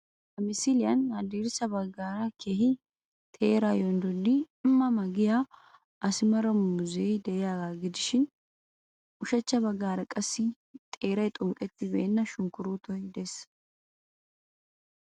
Ha misiliyan haddirssa baggaara keehi teeraa yonddodidi ma ma yaagiya asimara muuzzee de"iyagaa gidishin ushachcha baggaara qassi xeeray xunqqettibeenna sunkkuruutoy dees